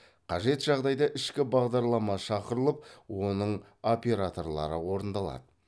қажет жағдайда ішкі бағдарлама шақырылып оның операторлары орындалады